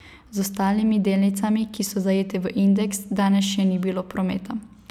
Z ostalimi delnicami, ki so zajete v indeks, danes še ni bilo prometa.